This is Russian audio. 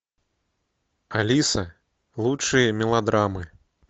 алиса лучшие мелодраммы